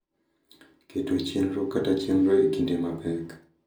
Keto chenro kata chenro e kinde mapek